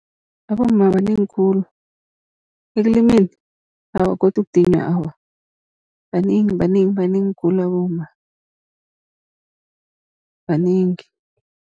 Abomma banengi khulu ekulimeni, awa godu ukudinywa awa banengi, banengi, banengi khulu abomma banengi.